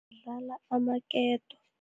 Dlala amaketo.